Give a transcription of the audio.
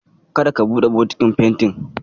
Kada ka buɗe bokitin fentin.